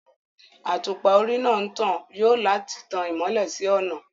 Àtùpà orí náà ń tan yòò láti tàn mọ́lẹ̀ sí ọ̀nà